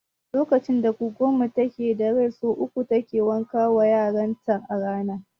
Lokacin da goggon mu take da rai sau uku take wanka wa yaran ta a rana